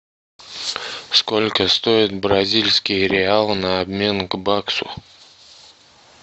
сколько стоит бразильский реал на обмен к баксу